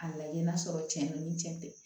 A lajɛ n'a sɔrɔ tiɲɛ don ni tiɲɛ tɛ